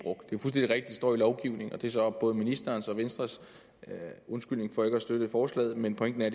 står i lovgivningen og det er så både ministerens og venstres undskyldning for ikke at støtte forslaget men pointen er